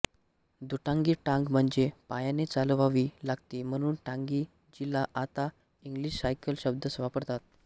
दुटांगी टांग म्हणजे पायाने चालवावी लागते म्हणून टांगी जीला आता इंग्लिश सायकल शब्द वापरतात